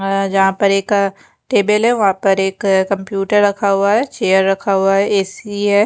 और यहाँ पे एक अः टेबल है वहा पर एक कंप्यूटर रखा हुआ है चेयर रखा हुआ है ऐ_सी है।